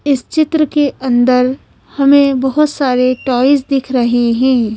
इस चित्र के अंदर हमें बहोत सारे टॉयज दिख रहे हैं।